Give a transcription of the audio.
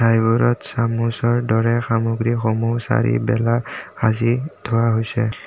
এইবোৰত চামুচৰ দৰে সামগ্ৰীসমূহ চাৰিবেলা সাঁচি থোৱা হৈছে।